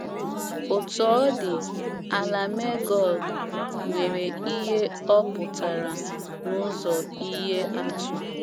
Otú ọ dị,, “ ala Megọg ” nwere ihe ọ pụtara n’ụzọ ihe atụ.